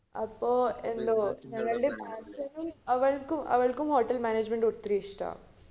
നമ്മടെ ബഡോധര പോയ അതിന്റെ plane ന്റ ticket അറിയോ എത്രയാന്ന് four thousand ആ അതിന്റെ നാലായിരം